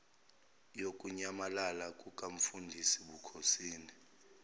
yokunyamalala kukamfundisi bukhosini